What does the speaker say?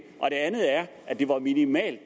andet er at det var minimalt